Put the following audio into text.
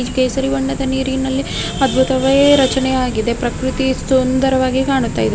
ಕೇಸರಿ ಬಣ್ಣದ ನೀರಿನಲ್ಲಿಅದ್ಭುತವಾಗಿ ರಚನೆ ಆಗಿದೆ ಪ್ರಕೃತಿ ಸುಂದರವಾಗಿ ಕಾಣುತ್ತಾ ಇದೆ .